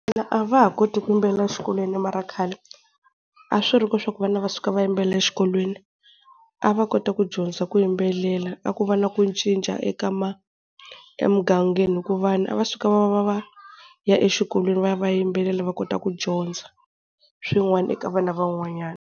A va ha koti ku yimbelela exikolweni. Mara khale a swi ri koho swa ku vana va suka vayimbelela exikolweni, a va kota ku dyondza ku yimbelela a ku va na ku cinca eka emugangeni hi ku vanhu a va suka va va va va ya exikolweni va ya vayimbelela va kota ku dyondza swin'wana eka vana van'wanyana.